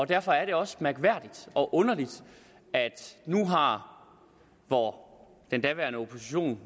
derfor er det også mærkværdigt og underligt at nu hvor den daværende opposition